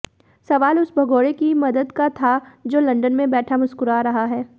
सवाल उस भगोड़े की मदद का था जो लंदन में बैठा मुस्कुरा रहा है